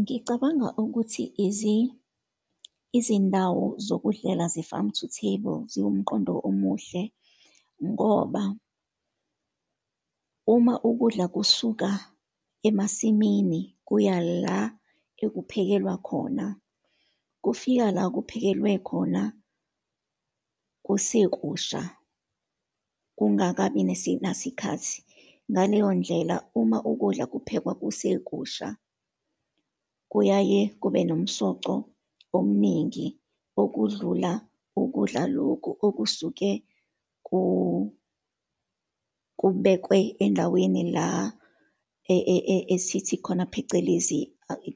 Ngicabanga ukuthi izindawo zokudlela, ze-farm to table ziwumqondo omuhle, ngoba uma ukudla kusuka emasimini kuya la ekuphekelwa khona, kufika la kuphakelwe khona kusekusha, kungakabi nasikhathi. Ngaleyo ndlela, uma ukudla kuphekwa kusekusha kuyaye kube nomsoco omuningi, okudlula ukudla lokhu okusuke kubekwe endaweni la esithi khona phecelezi,